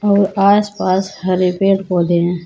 और आस पास हरे पेड़ पौधे हैं।